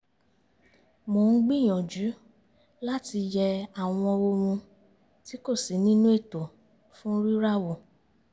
mò ń gbìyànjú láti yẹ àwọn ohun tí kò sí nínú ètò fún rírà wo